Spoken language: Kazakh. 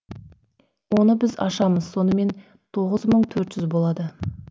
оны біз ашамыз сонымен тоғыз мың төрт жүз болады